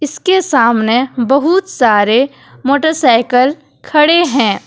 इसके सामने बहुत सारे मोटरसाइकल खड़े हैं।